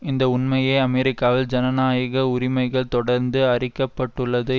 இந்த உண்மையே அமெரிக்காவில் ஜனநாயக உரிமைக தொடர்ந்து அரிக்கப்பட்டுள்ளது